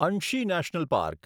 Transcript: Anshi national park